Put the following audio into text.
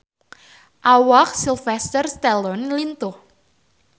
Awak Sylvester Stallone lintuh